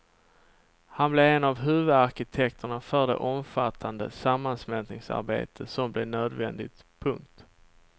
Han blev en av huvudarkitekterna för det omfattande sammansmältningsarbete som blev nödvändigt. punkt